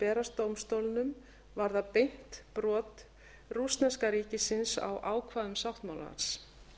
berast dómstólnum varða meint brot rússneska ríkisins á ákvæðum sáttmálans